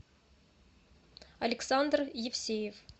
александр евсеев